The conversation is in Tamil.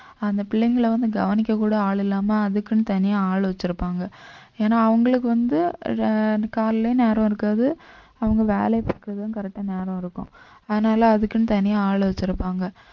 அந்த பிள்ளைங்களை வந்து கவனிக்க கூட ஆள் இல்லாம அதுக்குன்னு தனியா ஆள் வச்சிருப்பாங்க ஏனா அவுங்களுக்கு வந்து அஹ் காலையில நேரம் இருக்காது அவங்க வேலையை பார்க்கிறதும் correct ஆன நேரம் இருக்கும் அதனால அதுக்குன்னு தனியா ஆள் வச்சிருப்பாங்க